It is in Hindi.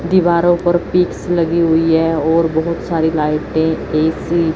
दीवारों पर पिक्स लगी हुई हैं और बहुत सारी लाइटें ए_सी --